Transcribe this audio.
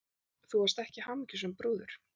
Þú varst ekki hamingjusöm brúður.